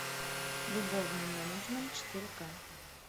любовный менеджмент четыре ка